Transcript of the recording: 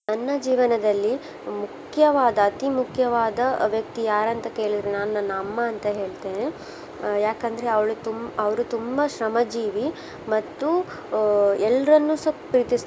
ನನ್ನ ಜೀವನದಲ್ಲಿ ಮುಖ್ಯವಾದ ಅತೀ ಮುಖ್ಯವಾದ ವ್ಯಕ್ತಿ ಯಾರಂತ ಕೇಳಿದ್ರೆ ನಾನು ನನ್ನ ಅಮ್ಮ ಅಂತ ಹೇಳ್ತೇನೆ. ಆ ಯಾಕಂದ್ರೆ ಅವ್ಳು ತುಂಬ ಅವ್ರು ತುಂಬಾ ಶ್ರಮಜೀವಿ ಮತ್ತು ಆ ಎಲ್ರನ್ನುಸ ಪ್ರೀತಿಸ್ತಾರೆ.